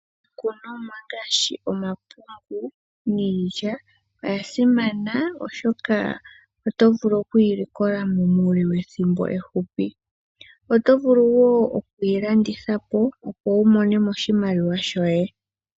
Iikunomwa ngaashi omapungu niilya oya simana oshoka oto vulu okuyi likola mo muule wethimbo ehupi. Oto vulu wo okuyi landitha po, opo wu mone mo oshimaliwa shoye.